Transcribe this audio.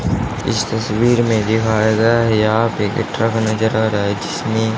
इस तस्वीर में दिखाया गया है यहाँ पे एक ट्रक नजर आ रहा है जिसमें--